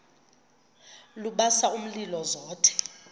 lubasa umlilo zothe